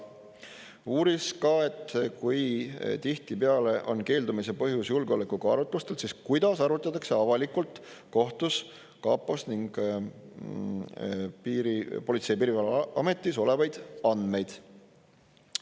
Uuris ka, et kui tihtipeale on keeldumise põhjus julgeoleku kaalutlustel, siis kuidas arutatakse avalikult kohtus kapos ning Politsei- ja Piirivalveametis olevaid andmeid.